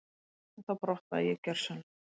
Þá brotnaði ég gjörsamlega.